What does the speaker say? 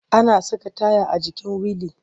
Ana saka taya a jikin wili.